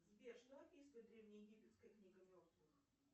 сбер что описывает древнеегипетская книга мертвых